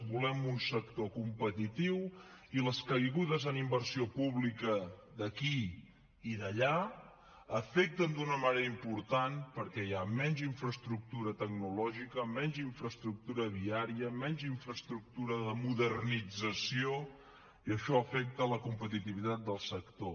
volem un sector competitiu i les caigudes en inversió pública d’aquí i d’allà afecten d’una manera important perquè hi ha menys infraestructura tecnològica menys infraestructura viària menys infraestructura de modernització i això afecta la competitivitat del sector